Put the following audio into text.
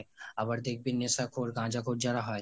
আবার দেখবি নেশাখোর গাঁজাখোর যারা হয়